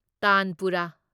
ꯇꯥꯟꯄꯨꯔꯥ